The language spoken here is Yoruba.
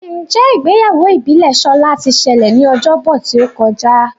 Njé Ìgbéyàwó ìbílè Shola tí ṣẹlẹ ní Ọjọ́ Bọ̀ tíó kọjá?